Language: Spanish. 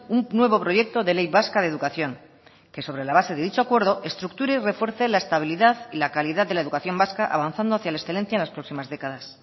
un nuevo proyecto de ley vasca de educación que sobre la base de dicho acuerdo estructure y refuerce la estabilidad y la calidad de la educación vasca avanzando hacia la excelencia en las próximas décadas